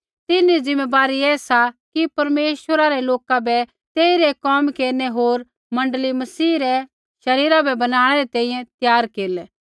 तिन्हरी ज़िम्मैबारी ऐ सा कि परमेश्वरा रै लोका बै तेइरै कोम केरनै होर मण्डली मसीह रै शरीरा बै बनाणै री तैंईंयैं त्यार केरलै